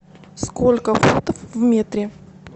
сколько футов в метре